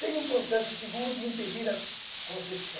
Tem um processo seguro de impedir a concepção.